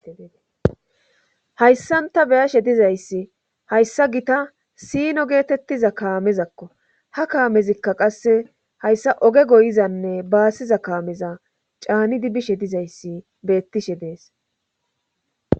hayssanta beyashe dizayssi hayssa gita siino geetettiza kaamezakko ha kaamezikka qasse hayssa oge goyizanne baassiza kaameza caanidi bishe dizayssi beettishe dees